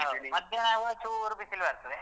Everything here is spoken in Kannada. ಮಧ್ಯಾಹ್ನ ಆಗುವಾಗ ಚೂರ್ ಬಿಸಿಲು ಬರ್ತದೆ.